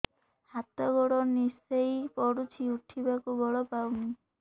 ହାତ ଗୋଡ ନିସେଇ ପଡୁଛି ଉଠିବାକୁ ବଳ ପାଉନି